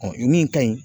min ka ɲi